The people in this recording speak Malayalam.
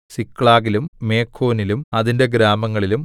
സിക്ലാഗിലും മെഖോനിലും അതിന്റെ ഗ്രാമങ്ങളിലും